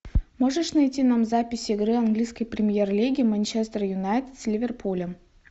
можешь найти нам запись игры английской премьер лиги манчестер юнайтед с ливерпулем